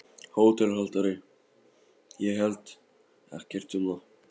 HÓTELHALDARI: Ég held ekkert um það.